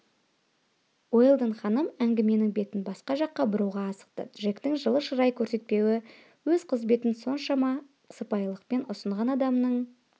уэлдон ханым әңгіменің бетін басқа жаққа бұруға асықты джектің жылы шырай көрсетпеуі өз қызметін соншама сыпайылықпен ұсынған адамның